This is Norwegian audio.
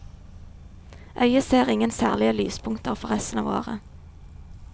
Øye ser ingen særlige lyspunkter for resten av året.